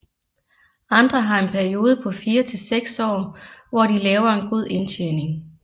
Andre har en periode på 4 til 6 år hvor de laver en god indtjening